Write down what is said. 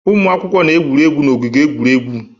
Ụmụ akwụkwọ na-egwuri egwu n'ogige egwuregwu